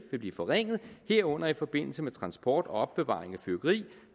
vil blive forringet herunder i forbindelse med transport og opbevaring